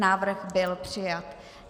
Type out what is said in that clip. Návrh byl přijat.